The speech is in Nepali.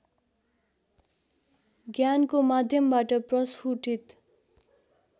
ज्ञानको माध्यमबाट प्रष्फुटित